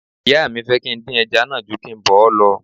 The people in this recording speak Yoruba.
Ìyá mi fẹ́ kí n dín ẹja náà ju kí n bọ̀ ọ́ lọ